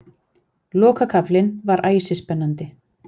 Lokakaflinn var æsispennandi